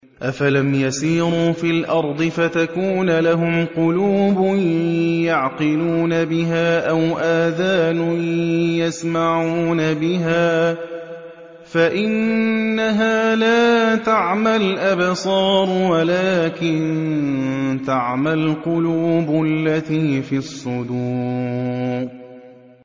أَفَلَمْ يَسِيرُوا فِي الْأَرْضِ فَتَكُونَ لَهُمْ قُلُوبٌ يَعْقِلُونَ بِهَا أَوْ آذَانٌ يَسْمَعُونَ بِهَا ۖ فَإِنَّهَا لَا تَعْمَى الْأَبْصَارُ وَلَٰكِن تَعْمَى الْقُلُوبُ الَّتِي فِي الصُّدُورِ